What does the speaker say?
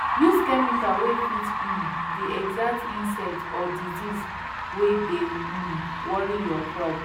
use chemical wey fit um the exact insect or disease wey dey um worry your crop